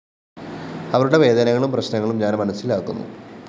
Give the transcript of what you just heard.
അവരുടെ വേദനകളും പ്രശ്‌നങ്ങളും ഞാന്‍ മനസിലാക്കുന്നു